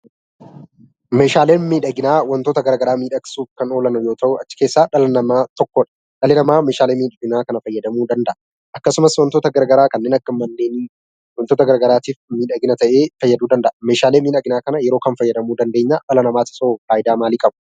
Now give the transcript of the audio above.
Meeshaaleen miidhaginaa wantoota garagaraa miidhagsuuf kan oolan yoo ta'u achi keessaa dhalli namaa tokkodha. Dhalli namaa meeshaalee miidhaginaa kana fayyadamuu danda'a. Akkasumas wantoota garaa garaa kanneen akka manneenii wantoota garaagaraatiif miidhagina ta'ee fayyaduu danda'a. Meeshaalee miidhaginaa kana yeroo kam fayyadamuu dandeenyaa? dhala namaafisoo faayidaa maalii qaba?